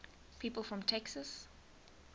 people from texas